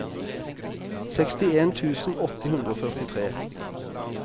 sekstien tusen åtte hundre og førtitre